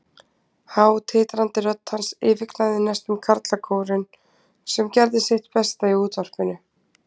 Há, titrandi rödd hans yfirgnæfði næstum karlakórinn, sem gerði sitt besta í útvarpinu.